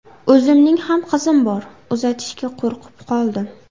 O‘zimning ham qizim bor, uzatishga qo‘rqib qoldim”.